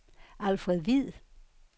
Alfred Hviid